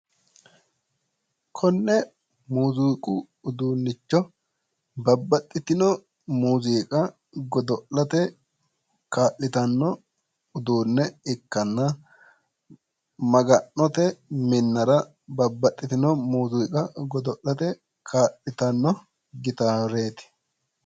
Konne muuziiqu uduunnicho babbaxitino muziiqa godo'late kaa'litanno uduunne ikkanna, Maga'note minnara kaa'litanno gitaareeti.